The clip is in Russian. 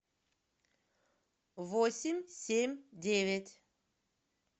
восемь семь девять